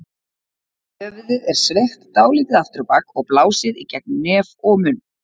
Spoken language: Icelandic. Höfuðið er sveigt dálítið aftur á bak og blásið í gegnum nef og munn.